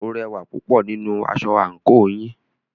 O rẹwà púpọ̀ nínú aṣọ àńkò yìí.